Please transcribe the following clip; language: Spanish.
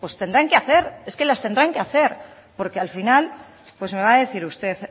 tendrán que hacer es que las tendrán que hacer porque al final me va a decir usted